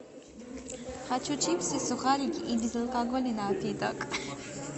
хочу чипсы сухарики и безалкогольный напиток